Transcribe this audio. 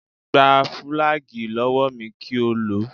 Gba fùlàgíì lọ́wọ́ mi kí o lò ó